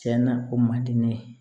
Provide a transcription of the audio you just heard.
Tiɲɛna o man di ne ye